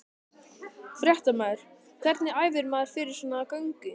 Fréttamaður: Hvernig æfir maður fyrir svona göngu?